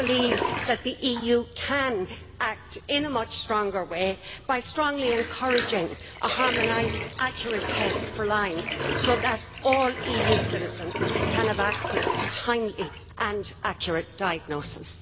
I believe that the EU can act in a much stronger way by strongly encouraging a harmonised, accurate test for Lyme disease so that all EU citizens can have access to timely and accurate diagnosis.